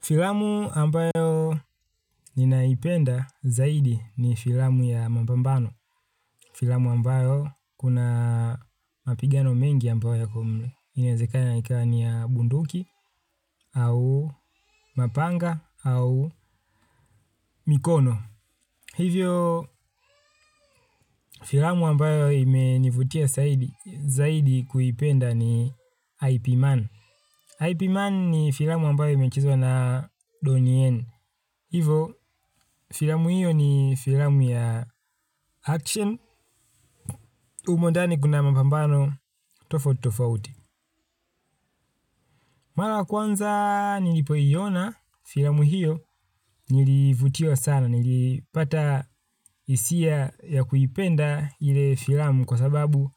Filamu ambayo ninaipenda zaidi ni filamu ya mapambano. Filamu ambayo kuna mapigano mengi ambayo yako mle. Inaezekana ikawa ni ya bunduki, au mapanga, au mikono. Hivyo, filamu ambayo imenivutia zaidi kuipenda ni IP Man. IP Man ni filamu ambayo imechezwa na Donnie N. Hivo filamu hiyo ni filamu ya action humo ndani kuna mapambano tofautitofauti. Mara kwanza nilipoiona filamu hiyo nilivutiwa sana nilipata hisia ya kuipenda ile filamu kwa sababu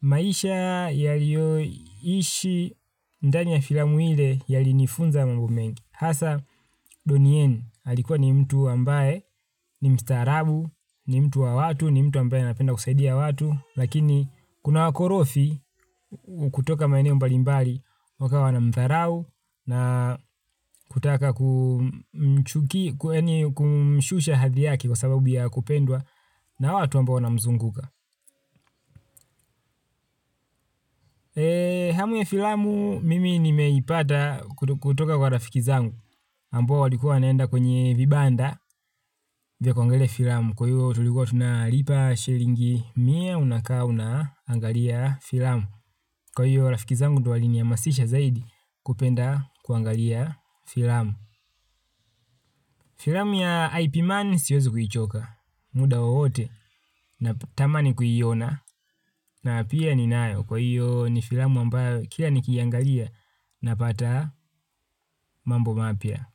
maisha yalioishi ndani ya filamu ile yalinifunza mambo mengi. Hasa donieni alikuwa ni mtu ambaye ni mstaarabu, ni mtu wa watu, ni mtu ambaye anapenda kusaidia watu. Lakini kuna wakorofi kutoka maeneo mbalimbali wakawa wanamtharau na kutaka kumshusha hadhi yake kwa sababu ya kupendwa na watu ambao wanamzunguka. Eee hamu ya filamu mimi nimeipata kutoka kwa rafiki zangu ambao walikuwa wanaenda kwenye vibanda vya kuangalia filamu. Kwa hiyo tulikuwa tunalipa shilingi mia unakaa unaangalia filamu. Kwa hiyo rafiki zangu ndio walinihamasisha zaidi kupenda kuangalia filamu. Filamu ya IP man siezi kuichoka muda wiwote natamani kuiona. Na pia ninayo kwa hiyo ni filmu ambayo kila nikiangalia napata mambo mapya.